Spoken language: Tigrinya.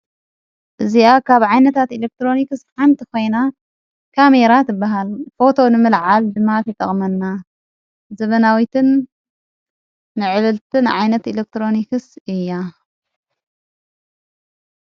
እዚኣ ካብ ዓይነታት ኤሌክትሮኒክስ ሓንቲ ኾይና ካሜራ ትበሃል ፎቶ ንምልዓል ድማ ትጠቕመና። ዘበናዊትን ምዕብልትን ዓይነት ኤሌክትሮኒክስ እያ።